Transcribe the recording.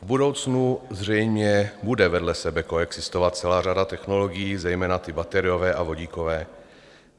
V budoucnu zřejmě bude vedle sebe koexistovat celá řada technologií, zejména ty bateriové a vodíkové.